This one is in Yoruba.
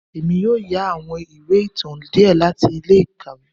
Èmí yóò yà àwọn ìwé ìtàn diẹ láti ilé-ikáwe